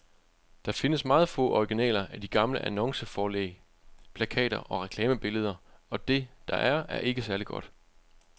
Der findes meget få originaler af de gamle annonceforlæg, plakater og reklamebilleder, og det, der er, er ikke særlig godt.